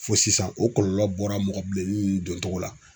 Fo sisan o kɔlɔlɔ bɔra mɔgɔ bilenni don cogo la.